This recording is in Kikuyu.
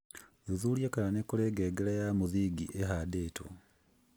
Thuthuria kana nĩ kũrĩ ngengere ya mũthingi ĩhandĩtwo